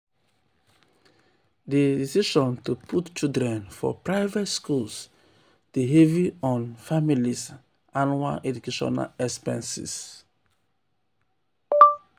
di decision to put children for private schools dey heavy on on families' annual educational expenses.